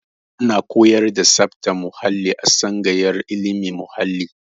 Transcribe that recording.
Ana koyar da tsabtar muhalli a tsangayar ilimin muhalli